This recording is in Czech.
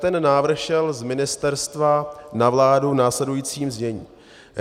Ten návrh šel z ministerstva na vládu v následujícím znění.